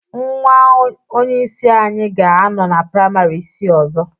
Nwa onyeisi anyị ga-anọ na praịmarị isii ọzọ